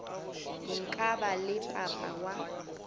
nka ba le papa wa